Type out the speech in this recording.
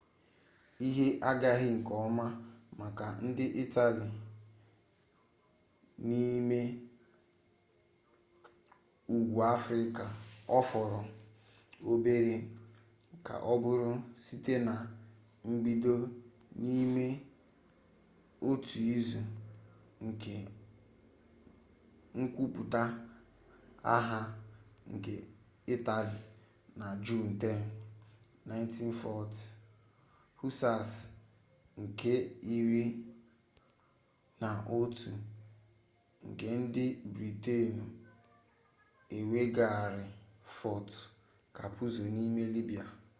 ihe agaghị nke ọma maka ndị itali n'ime ugwu afrịka ọ fọrọ obere ka ọ bụrụ site na mbido n'ime otu izu nke nkwupụta agha nke itali na juun 10 1940 hussars nke iri na otu nke ndị britenụ eweghaara fort capuzzo n'ime libya